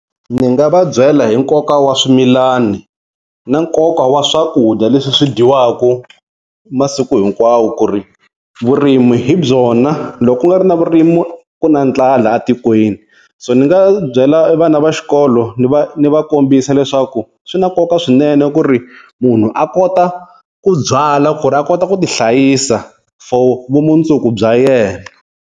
Ndzi nga va byela hi nkoka wa swimilani na nkoka wa swakudya leswi swi dyiwaka masiku hinkwawo ku ri vurimi hi byona loko ku nga ri na vurimi ku na ndlala a tikweni. So ni nga byela a vana va xikolo ni va ni va kombisa leswaku swi na nkoka swinene ku ri munhu a kota ku byala ku ri a kota ku ti hlayisa for vumundzuku bya yena.